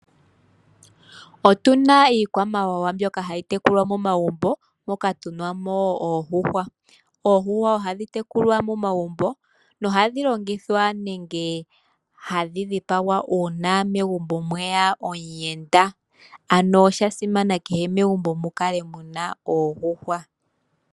Otuna iikwamawawa mbyoka hayi tekulwa momagumbo moka tuna mo oondjuhwa Oondjuhwa ohadhi tekulwa momagumbo na ohadhi longithwa nenge hadhi dhipagwa una megumbo mweya omuyenda ano oshasimana kehe megumbo mukale muna oondjuhwa.